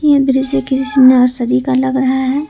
यह दृश्य किसी नर्सरी का लग रहा है।